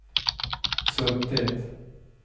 suttit